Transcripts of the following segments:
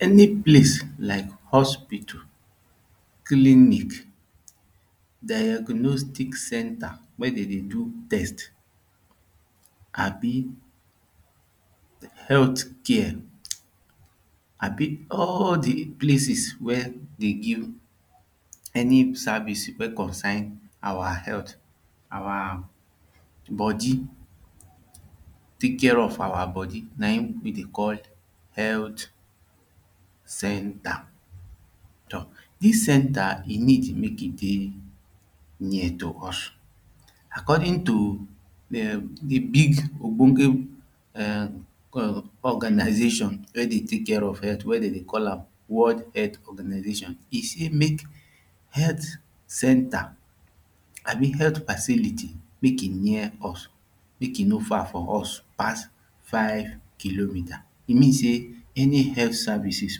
Any place like hospital clinic diagnostic centre wey dem dey do test abi health care abi all the places wey dey give any service wey concern our health our body take care of our body na him we dey call health centre. This centre e need make e dey near to us according to big big ogbonge organisation wey dey take care of healt wey dey dey call am world healt organisation e say mek healthy centa abi healt facility meke near us mek e no far from us pass five kilometres e mean seh any health services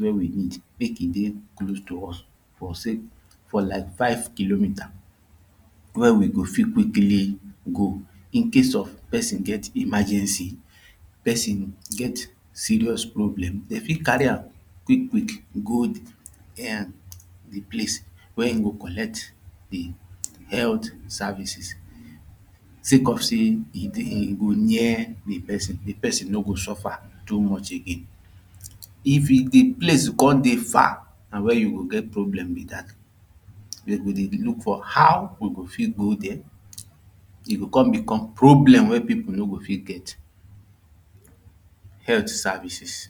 wey we need make e dey close to is for say for like five kilometres wey we go fit quickly go in case of person get emergency person get serious problem dey fit carry am quick quick go the um place wey him go collect the health services say cause say e dey e go near the person, the person no go suffer too much again if e the place come dey far na where you go get problem be that dem go dey look for how we go fit go dey e go come become problem wey people no go fit get healt services